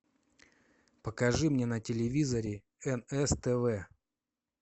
покажи мне на телевизоре нств